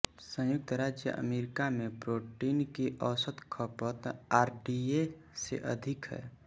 संयुक्त राज्य अमेरिका में प्रोटीन की औसत खपत आरडीए से अधिक है